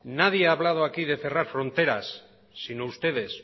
nadie ha hablado aquí de cerrar fronteras sino ustedes